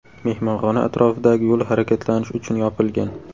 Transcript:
Mehmonxona atrofidagi yo‘l harakatlanish uchun yopilgan.